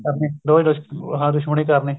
ਕਰਨੀ ਹਾਂ ਦੁਸ਼ਮਣੀ ਕਰਨੀ